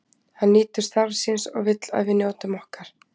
Hann nýtur starfs síns og vill að við njótum okkar.